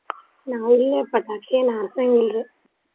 ನಾವು ಇಲ್ಲ ಪಟಾಕ್ಷಿ ಏನ ಹಾರ್ಸಾಂಗಿಲ್ರಿ.